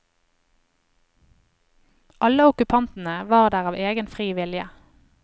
Alle okkupantene var der av egen fri vilje.